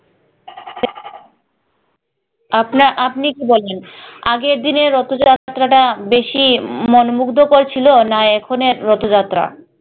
আপনা আপনি কি বলেন আগের দিনের রথ যাত্রাটা বেশি মনোমুগ্ধকর ছিল না এখনের রথ যাত্রা?